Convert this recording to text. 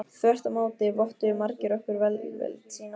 Þvert á móti vottuðu margir okkur velvild sína.